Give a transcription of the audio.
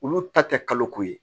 Olu ta tɛ kalo ko ye